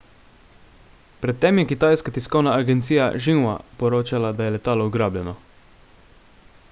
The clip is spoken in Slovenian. pred tem je kitajska tiskovna agencija xinhua poročala da je letalo ugrabljeno